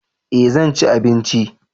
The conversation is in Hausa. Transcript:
eh zanci abinci